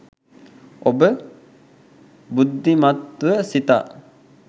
ඔබ බුද්ධිමත්ව සිතා